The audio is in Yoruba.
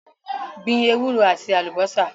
Gbin ewúro àti àlùbásà